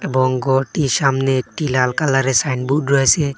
এবং গরটির সামনে একটি লাল কালারের সাইনবুর্ড রয়েসে।